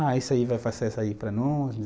Ah, isso aí vai fazer essa aí para nós, né